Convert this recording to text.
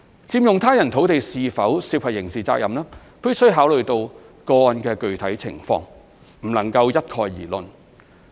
佔用他人土地是否涉及刑事責任，必須考慮個案的具體情況，不能一概而論。